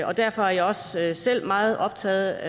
og derfor er jeg også selv meget optaget